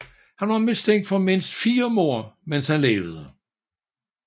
Han var mistænkt for mindst fire mord mens han levede